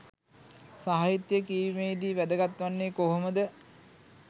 සාහිත්‍ය කියවීමේදී වැදගත් වෙන්නේ කොහොමද?